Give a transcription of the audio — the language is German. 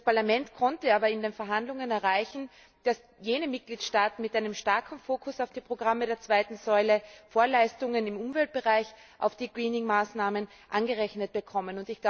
Das Parlament konnte aber in den Verhandlungen erreichen, dass jene Mitgliedstaaten mit einem starken Fokus auf den Programmen der zweiten Säule Vorleistungen im Umweltbereich auf die Greening Maßnahmen angerechnet bekommen.